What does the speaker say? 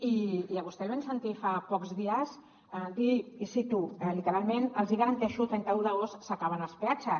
i a vostè el vam sentir fa pocs dies dir i cito literalment els hi garanteixo trenta un d’agost s’acaben els peatges